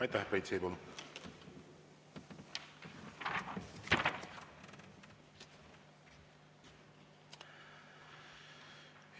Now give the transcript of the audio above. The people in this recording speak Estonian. Aitäh, Priit Sibul!